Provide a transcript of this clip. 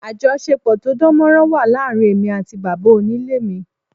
Àjọṣepọ̀ tó dánmọ́nrán wà láàárín èmi àti bàbá onílé mi